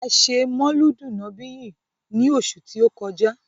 A ṣe mọ̀ọ́lúdù nọ̀bíyì ni oṣù tí ó kọjá.